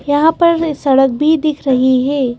यहां पर सड़क भी दिख रही है।